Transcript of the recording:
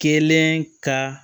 Kelen ka